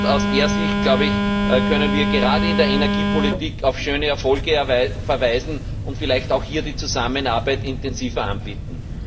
Aus dieser Sicht, glaube ich, können wir gerade in der Energiepolitik auf schöne Erfolge verweisen und vielleicht auch hier die Zusammenarbeit intensiver anbieten.